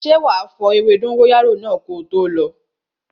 Ṣé wá fo ewé dóngóyárò ko tó lo?